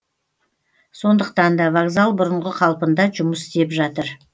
сондықтан да вокзал бұрынғы қалпында жұмыс істеп жатыр